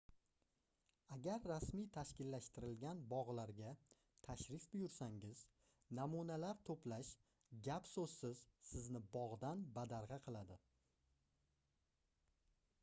agar rasmiy tashkillashtirilgan bogʻlarga tashrif buyursangiz namunalar toʻplash gap-soʻzsiz sizni bogʻdan badargʻa qiladi